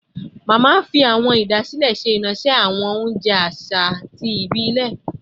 Mama fi awọn idasile ṣe iranṣẹ awọn ounjẹ aṣa ti ibilẹ